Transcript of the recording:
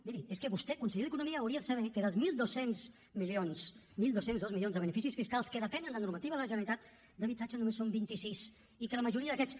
miri és que vostè conseller d’economia hauria de saber que dels mil dos cents milions dotze zero dos milions de beneficis fiscals que depenen de normativa de la generalitat d’habitatge només en són vint sis i que la majoria d’aquests